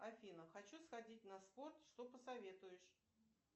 афина хочу сходить на спорт что посоветуешь